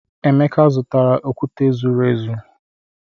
Emeka, zụtara okwute zuru ezu.